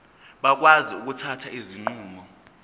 bakwazi ukuthatha izinqumo